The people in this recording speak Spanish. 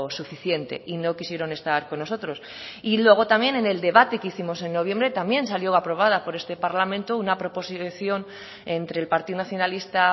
suficiente y no quisieron estar con nosotros y luego también en el debate que hicimos en noviembre también salió aprobada por este parlamento una proposición entre el partido nacionalista